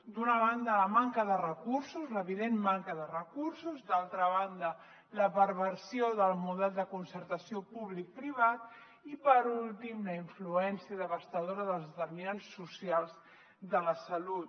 d’una banda la manca de recursos l’evident manca de recursos d’una altra banda la perversió del model de concertació publicoprivat i per últim la influència devastadora dels determinants socials de la salut